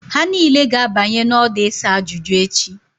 Ha niile ga-abanye n'ọdụ isa ajuju echi